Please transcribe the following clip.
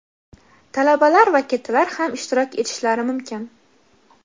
talabalar va kattalar ham ishtirok etishlari mumkin.